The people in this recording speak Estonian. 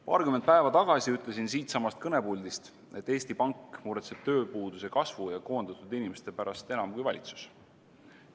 Paarkümmend päeva tagasi ütlesin siitsamast kõnepuldist, et Eesti Pank muretseb tööpuuduse kasvu ja koondatud inimeste pärast enam kui valitsus.